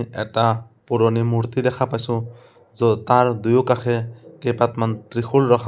এটা পুৰণি মূৰ্তি দেখা পাইছোঁ য'ত তাৰ দুয়ো কাষে কেইপাতমান ত্ৰিশূল ৰখা--